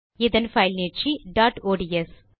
இதன் பைல் நீட்சி டாட் ஒட்ஸ்